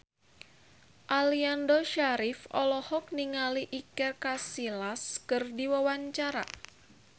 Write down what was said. Aliando Syarif olohok ningali Iker Casillas keur diwawancara